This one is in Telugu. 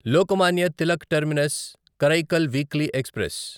Lokmanya Tilak terminus Karaikal weekly express